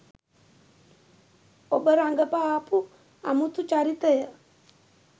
ඔබ රඟපාපු අමුතු චරිතය